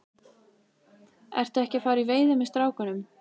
Ertu ekki að fara í veiði með strákunum?